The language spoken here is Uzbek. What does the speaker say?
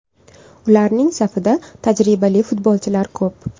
Ularning safida tajribali futbolchilar ko‘p.